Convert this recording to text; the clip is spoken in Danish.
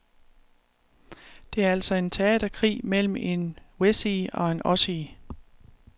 Det er altså en teaterkrig mellem en wessie og en ossie.